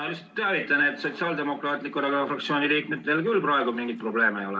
Ma lihtsalt teavitan, et Sotsiaaldemokraatliku Erakonna fraktsiooni liikmetel küll praegu mingeid probleeme ei ole.